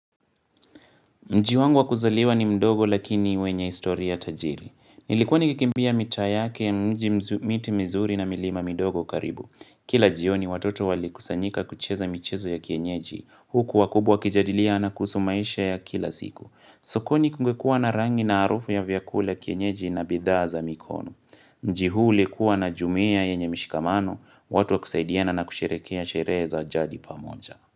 Mji wangu wa kuzaliwa ni mdogo lakini wenye historia tajiri. Nilikuwa nikikimbia mita yake mji mzu miti mizuri na milima midogo karibu. Kila jioni watoto walikusanyika kucheza michezo ya kienyeji. Huku wakubwa wakijadiliana kuhusu maisha ya kila siku. Sokoni kungekua na rangi na harufu ya vyakula kienyeji na bidhaa za mikono. Mji huu ulikuwa na jumuiya yenye mishikamano, watu wakusaidiana na kusherekea sherehe za jadi pamoja.